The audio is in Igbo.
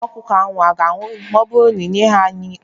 Ụmụ ọkụkọ ahụ a ga-anwụ ma ọ bụrụ n'ịnyeghị ha nri?